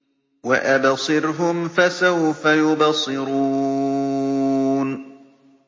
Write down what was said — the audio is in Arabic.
وَأَبْصِرْهُمْ فَسَوْفَ يُبْصِرُونَ